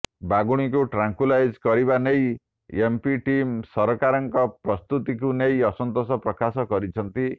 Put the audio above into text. ବାଘୁଣୀଙ୍କୁ tranquillise କରିବା ନେଇ MP team ସରକାରଙ୍କ ପ୍ରସ୍ତୁତିକୁ ନେଇ ଅସନ୍ତାେଷ ପ୍ରକାଶ କରିଛନ୍ତି